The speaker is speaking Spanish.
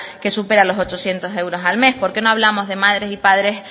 que supera los ochocientos euros al mes por qué no hablamos de madres y padres